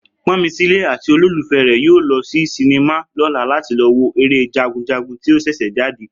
Pọ́nmilé àti olólùfẹ́ rè yóò lọ sí sinimá lọ́la láti lọ wo eré Jagunjagun tí ó ṣẹ̀ṣẹ̀ jáde